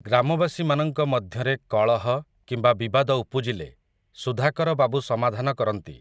ଗ୍ରାମବାସୀମାନଙ୍କ ମଧ୍ୟରେ, କଳହ, କିମ୍ବା ବିବାଦ ଉପୁଜିଲେ, ସୁଧାକର ବାବୁ ସମାଧାନ କରନ୍ତି ।